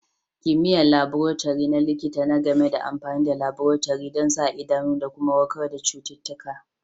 Kimiyya'n laborotori na likita na game da amfanin laborotori dan sa idanu da kuma warkar da citutuka.